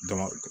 Dɔnku